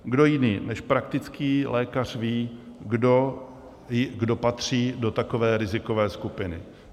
Kdo jiný než praktický lékař ví, kdo patří do takové rizikové skupiny?